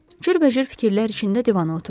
Cürbəcür fikirlər içində divana oturdu.